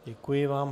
Děkuji vám.